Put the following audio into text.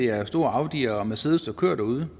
er store audi og mercedes der kører derude